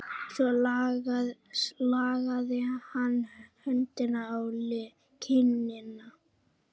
Svo lagði hann höndina á kinnina.